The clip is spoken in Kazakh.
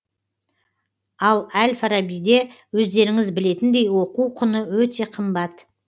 ал әл фарабиде өздеріңіз білетіндей оқу құны өте қымбат